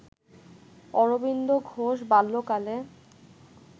অরবিন্দ ঘোষ বাল্যকালে